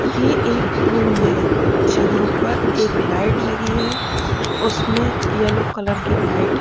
ये एक रूम है जहाँ पर एक लाइट लगी हैं उसमें यलो कलर कि लाइट --